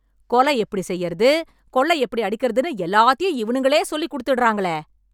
கொலை எப்டி செய்றது, கொள்ளை எப்டி அடிக்கறதுன்னு எல்லாத்தையும் இவனுங்களே சொல்லிக்குடுத்துடறாங்களே...